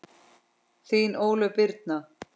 Þín Ólöf Birna.